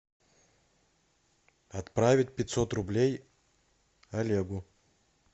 отправить пятьсот рублей олегу